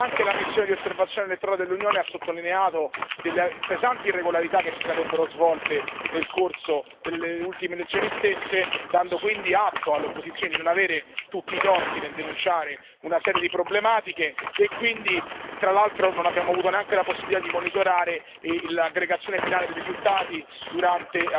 Anche la missione di osservazione elettorale dell'Unione ha sottolineato delle pesanti irregolarità che si sarebbero svolte nel corso delle ultime elezioni, dando quindi atto alle opposizioni di non avere tutti i torti nel denunciare una serie di problematiche e, tra l'altro, non abbiamo avuto neanche la possibilità di monitorare l'aggregazione finale dei risultati durante